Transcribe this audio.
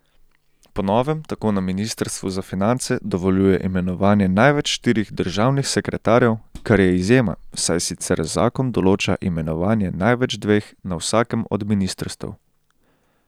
Po novem tako na ministrstvu za finance dovoljuje imenovanje največ štirih državnih sekretarjev, kar je izjema, saj sicer zakon določa imenovanje največ dveh na vsakem od ministrstev.